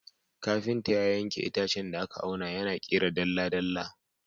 Kafinta ya yanke itacen da aka auna, yana ƙera dalla-dalla.